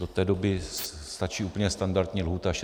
Do té doby stačí úplně standardní lhůta 60 dnů.